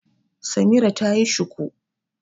Samira ta yi shuku.